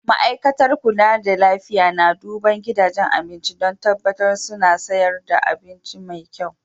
Ma'aikatar kulla da lafiya na duban gidajen abinci dan tabatar suna sayarwa abinci mai kyau.